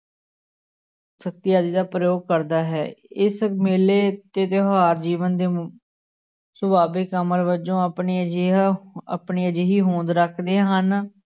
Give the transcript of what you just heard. ਸ਼ਕਤੀ ਆਦਿ ਦਾ ਪ੍ਰਯੋਗ ਕਰਦਾ ਹੈ, ਇਸ ਮੇਲੇ ਤੇ ਤਿਉਹਾਰ ਜੀਵਨ ਦੇ ਸਵਾਦਿਕ ਅਮਲ ਵਜੋਂ ਆਪਣੀ ਅਜਿਹਾ ਆਪਣੀ ਅਜਿਹੀ ਹੋਂਦ ਰੱਖਦੇ ਹਨ